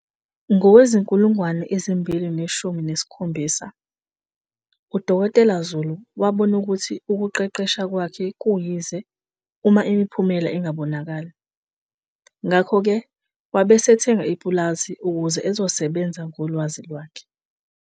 Ngowezi-2017, u-Dkt Zulu wabona ukuthi ukuqeqesha kwakhe kuyize uma imiphumela ingabonakali, ngakho-ke wabe esethenga ipulazi ukuze ezosebenza ngolwazi lwakhe.